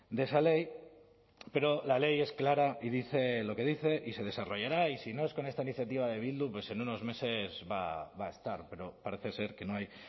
de esa ley pero la ley es clara y dice lo que dice y se desarrollará y si no es con esta iniciativa de bildu pues en unos meses va a estar pero parece ser que no hay